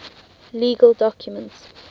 legal documents